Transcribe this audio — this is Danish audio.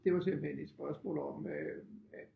Det var simpelthen et spørgsmål om øh at